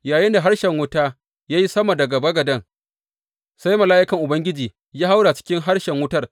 Yayinda harshen wuta ya yi sama daga bagaden, sai mala’ikan Ubangiji ya haura cikin harshen wutar.